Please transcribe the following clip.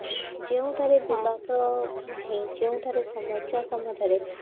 ଯେଉଁଠାରେ ବିବାଦ ନାହିଁ ଯେଉଁଠାରେ ସମସ୍ଯା ସମ୍ବନ୍ଧ୍ୟ ରେ